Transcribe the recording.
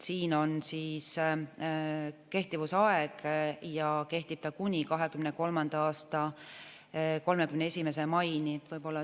Siin on kehtivusaeg ja see kehtib kuni 2023. aasta 31. maini.